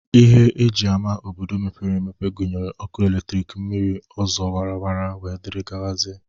Ihe e ji ama obodo mepere emepe gụnyere ọkụ eletriki, mmiri, ụzọ awara awara, wdg.